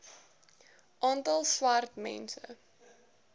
aantal swart mense